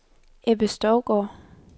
Ebbe Stougaard